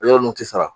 Yɔrɔ ninnu tɛ sara